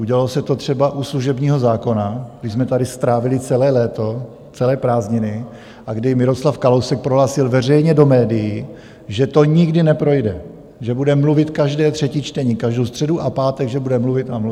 Udělalo se to třeba u služebního zákona, kdy jsme tady strávili celé léto, celé prázdniny a kdy Miroslav Kalousek prohlásil veřejně do médií, že to nikdy neprojde, že bude mluvit každé třetí čtení, každou středu a pátek že bude mluvit a mluvit.